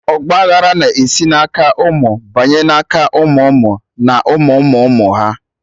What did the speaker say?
Ọgba aghara na-esi na aka ụmụ banye na aka ụmụ ụmụ na ụmụ ụmụ ụmụ ha